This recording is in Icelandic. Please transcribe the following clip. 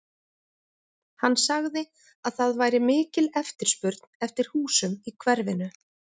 Hann sagði að það væri mikil eftirspurn eftir húsum í hverfinu.